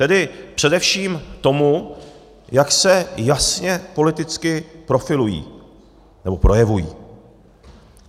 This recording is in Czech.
Tedy především tomu, jak se jasně politicky profilují nebo projevují.